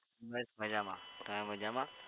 બસ મજમા તમે મજામાં?